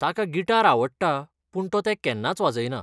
ताका गिटार आवडटा पूण तो तें केन्नाच वाजयना.